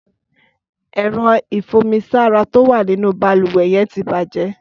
Ẹ̀rọ̀ ifùnmisàrá tó wà ninú bàlúwẹ̀ yèn ti bàjè